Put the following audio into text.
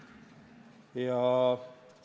Keskmine inimene ei oska pikaajalisi protsesse hinnata.